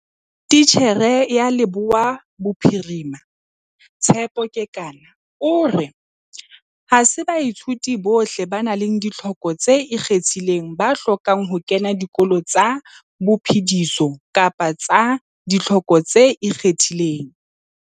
Titjhere ya Leboya Bophiri ma, Tshepo Kekana o re. Ha se baithuti bohle ba nang le ditlhoko tse ikgethileng ba hlokang ho kena dikolo tsa phodiso kapa tsa ditlhoko tse ikgethileng.